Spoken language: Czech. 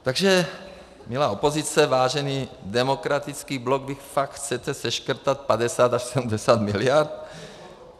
Takže milá opozice, vážený Demokratický bloku, vy fakt chcete seškrtat 50 až 70 miliard?